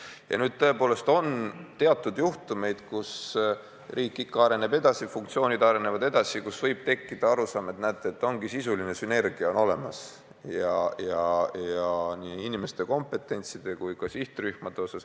Ja tõepoolest on ka teatud juhtumeid, kus riik on edasi arenenud, funktsioonid on edasi arenenud ja võib tekkida arusaam, et võib tekkida sisuline sünergia nii inimeste kompetentside kui ka sihtrühmade osas.